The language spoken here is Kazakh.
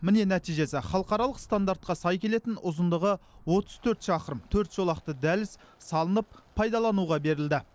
міне нәтижесі халықаралық стандартқа сай келетін ұзындығы отыз төрт шақырым төрт жолақты дәліз салынып пайдалануға берілді